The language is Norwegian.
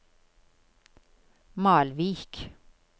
Malvik